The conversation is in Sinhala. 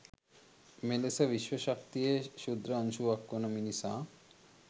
මෙලෙස විශ්ව ශක්තියේ ක්‍ෂුද්‍ර අංශුවක් වන මිනිසා